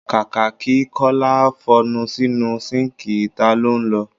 Kàkà kí Kọ́lá f'ọnu sínu síǹkì, ìta lọ́ ń lọ.